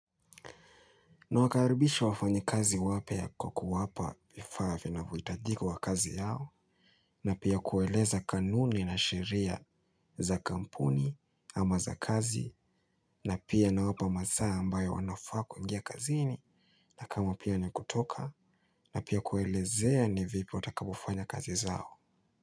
Na wakaribisha wafanyi kazi wapya kwa kuwapa vifaa vinavyohitajika kwa kazi yao na pia kueleza kanuni na sheria za kampuni ama za kazi na pia nawapa masaa ambayo wanafaa kuingia kazini na kama pia ni kutoka na pia kuelezea ni vipi watakavofanya kazi zao.